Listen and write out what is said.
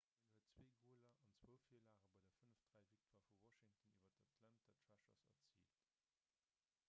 hien huet 2 goler an 2 virlage bei der 5:3-victoire vu washington iwwer d'atlanta thrashers erziilt